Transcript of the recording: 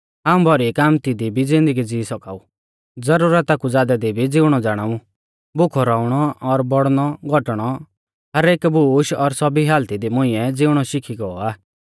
हाऊं भौरी कामती दी भी ज़िन्दगी ज़िवी सौका ऊ ज़रुरता कु ज़ादै दी भी ज़िउणौ ज़ाणाऊ भुखौ रौउणौ और बौड़णौघौटणौ हर एक बूश और सौभी हालती दी मुंइऐ ज़िउणौ शिखी गौ आ